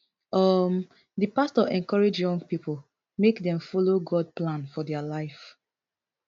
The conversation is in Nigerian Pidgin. um di pastor encourage young pipo make dem follow god plan for dia life